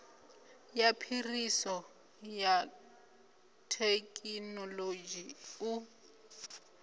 ya phiriso ya thekinolodzhi u